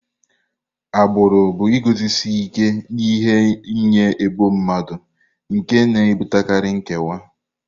Agbụrụ bụ iguzosi ike n'ihe nye ebo mmadụ nke na-ebutekarị nkewa.